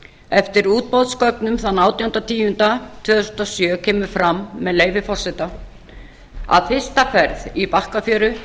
eftir útboðsgögnum þann átjánda tíunda tvö þúsund og sjö kemur fram með leyfi forseta að fyrsta ferð í bakkafjöru